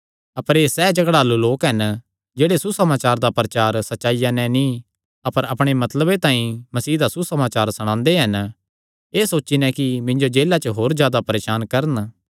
अपर एह़ सैह़ झगड़ालू लोक हन जेह्ड़े सुसमाचार दा प्रचार सच्चाईया नैं नीं अपर अपणे मतलबे तांई मसीह दा सुसमाचार सणांदे हन एह़ सोची नैं कि मिन्जो जेला च होर जादा परेसान करन